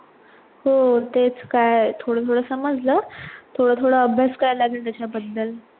हो तेच काय थोडं थोडं समजलं, थोडं थोडं अभ्यास करायला लागेल त्याच्याबद्दल